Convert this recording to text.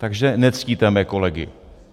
Takže nectíte mé kolegy.